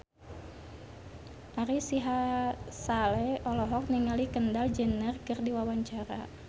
Ari Sihasale olohok ningali Kendall Jenner keur diwawancara